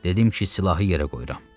Dedim ki, silahı yerə qoyuram.